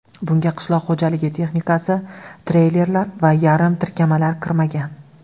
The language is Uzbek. Bunga qishloq xo‘jaligi texnikasi, treylerlar va yarim tirkamalar kirmagan.